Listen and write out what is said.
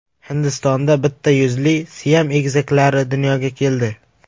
Hindistonda bitta yuzli Siam egizaklari dunyoga keldi.